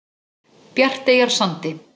Bjarteyjarsandi